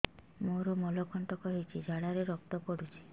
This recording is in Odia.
ମୋରୋ ମଳକଣ୍ଟକ ହେଇଚି ଝାଡ଼ାରେ ରକ୍ତ ପଡୁଛି